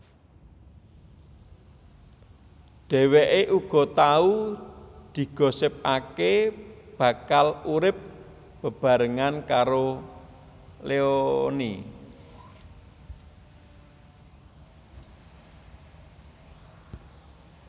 Dheweké uga tau digosipaké bakal urip bebarengan karo Leony